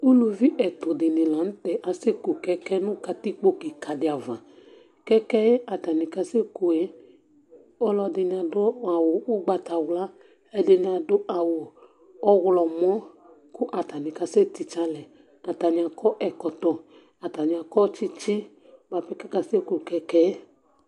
Ʋlʋvi ɛtu dìní la ntɛ asɛku kɛkɛ nʋ katikpo kìka di ava Kɛkɛ yɛ kʋ atani kasɛku ye ɔlɔdini adu awu ugbatawla Ɛdiní adu awu ɔwlɔmɔ kʋ atani kasɛtitse alɛ Atani akɔ ɛkɔtɔ Atani akɔ tsitsi bʋapɛ kʋ akasɛkʋ kɛkɛ yɛ